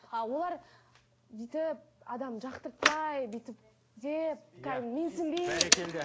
а олар бүйтіп адамды жақтыртпай бүйтіп деп кәдімгі менсінбей бәрекелді